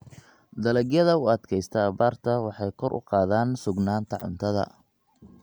Dalagyada u adkaysta abaarta waxay kor u qaadaan sugnaanta cuntada.